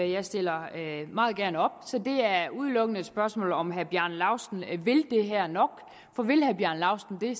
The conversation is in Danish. jeg stiller meget gerne op så er det er udelukkende et spørgsmål om hvorvidt herre bjarne laustsen vil det her nok for vil herre bjarne laustsen det